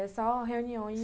É só reuniões.